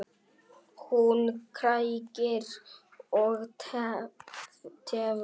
Hún kærir og tefur fyrir.